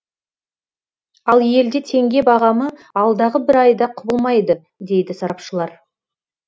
ал елде теңге бағамы алдағы бір айда құбылмайды дейді сарапшылар